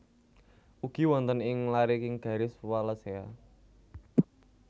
Ugi wonten ing lariking garis Wallacea